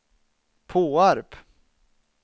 Påarp